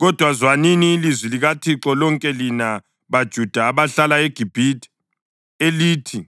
Kodwa zwanini ilizwi likaThixo lonke lina baJuda abahlala eGibhithe elithi: